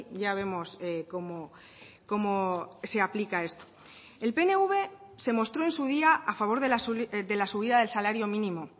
ya vemos cómo se aplica esto el pnv se mostró en su día a favor de la subida del salario mínimo